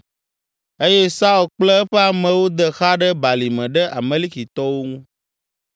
eye Saul kple eƒe amewo de xa ɖe balime ɖe Amalekitɔwo ŋu.